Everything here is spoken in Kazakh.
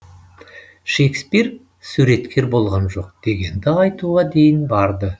шекспир суреткер болған жоқ дегенді айтуға дейін барды